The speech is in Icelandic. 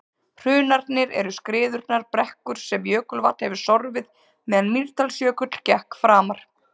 hrunarnir eru skriðurunnar brekkur sem jökulvatn hefur sorfið meðan mýrdalsjökull gekk framar